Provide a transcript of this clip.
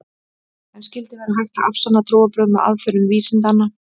En skyldi vera hægt að afsanna trúarbrögð með aðferðum vísindanna?